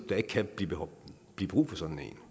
der ikke kan blive brug for sådan